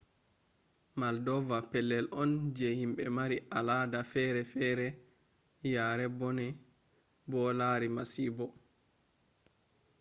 moldova pellel on je himɓe mari al ada fere fere yari bone bo lari masibo